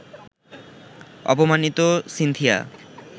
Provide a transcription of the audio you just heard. অপমাণিত Cynthia